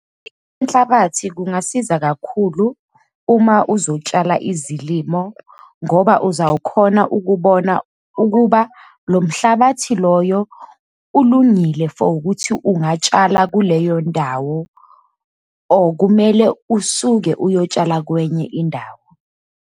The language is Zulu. Inhlabathi kungasiza kakhulu uma uzotshala izilimo, ngoba uzawukhona ukubona ukuba lo mhlabathi loyo ulungile for ukuthi ungatshala kuleyo ndawo, or kumele usuke uyotshala kwenye indawo.